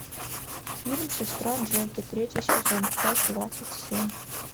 фильм сестра джеки третий сезон часть двадцать семь